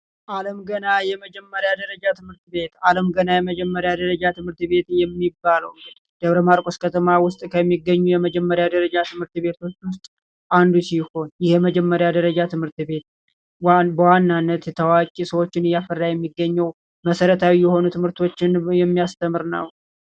አለም ገና የመጀመሪያ ደረጃ ትምህርት ቤት ዓለም ገና የመጀመሪያ ደረጃ ትምህርት ቤት በደብረ ማርቆስ ከተማ ከሚገኙ የመጀመሪያ ደረጃ ትምህርት ቤቶች አንዱ ሲሆን የመጀመሪያ ደረጃ ትምህርት ቤት በዋናነት የተዋጀ ሰዎች እያፈራ የሚገኘው መሰረታዊ የትምህርቶችን የሚያስተምር ነው።